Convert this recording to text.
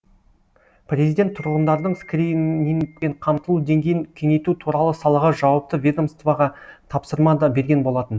президент тұрғындардың скринингпен қамтылу деңгейін кеңейту туралы салаға жауапты ведомствоға тапсырма да берген болатын